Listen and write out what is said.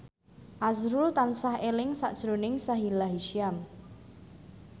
azrul tansah eling sakjroning Sahila Hisyam